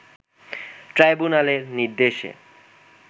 ট্রাইব্যুনালের নির্দেশে